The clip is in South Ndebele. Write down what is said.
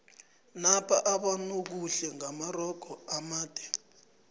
napa abonobuhle ngamarogo amade